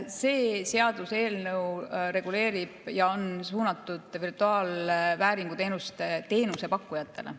See seaduseelnõu reguleerib ja on suunatud virtuaalvääringu teenuse teenusepakkujatele.